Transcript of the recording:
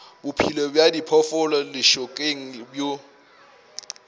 bophelo bja diphoofolo lešokeng bo